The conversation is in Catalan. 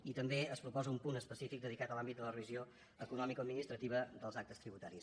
i també es proposa un punt específic dedicat a l’àmbit de la revisió economicoadministrativa dels actes tributaris